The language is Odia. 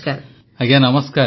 ପ୍ରଧାନମନ୍ତ୍ରୀ ଆଜ୍ଞା ନମସ୍କାର